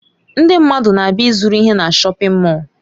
Ndị mmadụ na-abịa ịzụrụ ihe na shọpin Mọll.